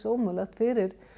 ómögulegt fyrir